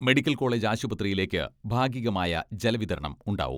Medical college ആശുപത്രിയിലേക്ക് ഭാഗികമായ ജലവിതരണം ഉണ്ടാവും.